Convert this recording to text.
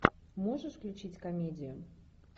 можешь включить комедию